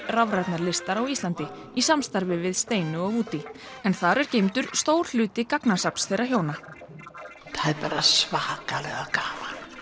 rafrænnar listar á Íslandi í samstarfi við Steinu og Woody en þar er geymdur stór hluti gagnasafns þeirra hjóna það er bara svakalega gaman